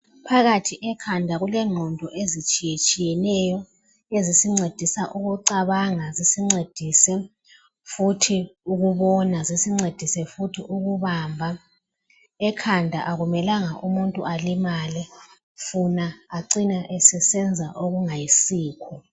Phakathi ekhanda kulengqondo ezitshiye tshiyeneyo ezisincedisa ukucabanga zisincedise futhi ukubona zisincedise futhi ukubamba ekhanda akumelanga umuntu alimele funa acine esesenza okungayisikho.